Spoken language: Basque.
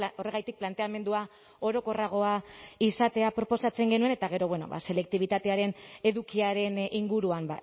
horregatik planteamendua orokorragoa izatea proposatzen genuen eta gero bueno ba selektibitatearen edukiaren inguruan